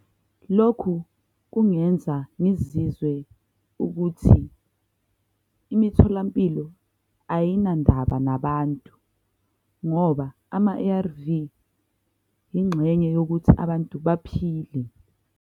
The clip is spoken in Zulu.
Lokhu kungenza ngizizwe ukuthi imitholampilo ayinandaba nabantu ngoba ama-A_R_V ingxenye yokuthi abantu baphile.